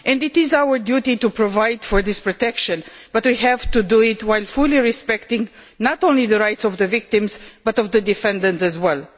It is our duty to provide for this protection, but we have to do it while fully respecting not only the rights of the victims but also those of the defendants as well.